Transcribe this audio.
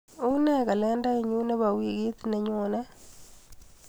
Unee kalendainyu nebo wikit nenyone?